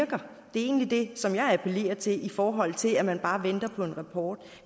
er egentlig det som jeg appellerer til i forhold til at man bare venter på en rapport